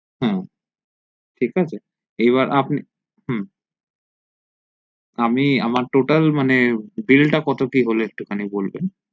হু ঠিক আছে এবার আপনি হু আমি আমার total মানে bill টা কত কি হলো একটুখানি বলবেন